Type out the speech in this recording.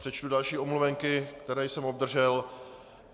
Přečtu další omluvenky, které jsem obdržel.